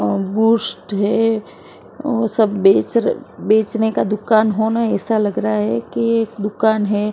और बेस्ट है ओ सब बेचरल बेचने का दुकान होना ऐसा लग रहा है कि दुकान है संभाल--